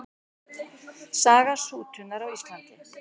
Saga sútunar á Íslandi.